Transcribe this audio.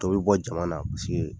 Dɔ bi bɔ jama na paseke